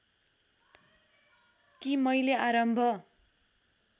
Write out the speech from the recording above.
कि मैले आरम्भ